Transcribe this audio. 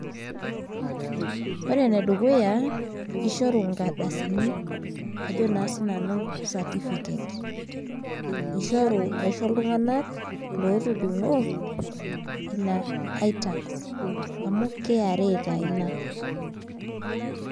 Ore enedukuya, kishoru inkardasini ajo naa sinanu certificates. Ishori aisho iltung'anak lotudung'o, ina itax, amu kra taa ina.